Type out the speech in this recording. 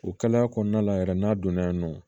O kalaya kɔnɔna la yɛrɛ n'a donna non